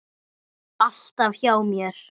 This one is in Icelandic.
Alltaf hjá mér.